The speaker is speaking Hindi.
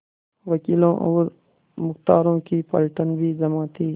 वकीलों और मुख्तारों की पलटन भी जमा थी